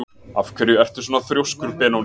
Af hverju ertu svona þrjóskur, Benóný?